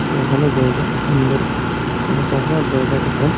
যে ভালো জায়গা সুন্দর কোনো কভার জায়গা দোকান।